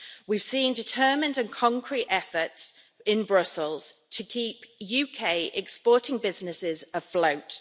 We've seen determined and concrete efforts in Brussels to keep UK-exporting businesses afloat.